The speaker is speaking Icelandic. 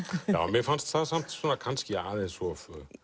mér fannst það samt kannski aðeins of